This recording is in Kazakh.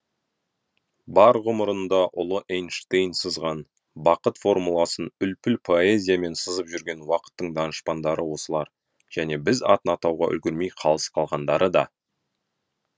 бар ғұмырында ұлы эйнштейн сызған бақыт формуласын үлпіл поэзиямен сызып жүрген уақыттың данышпандары осылар және біз атын атауға үлгермей қалыс қалғандары да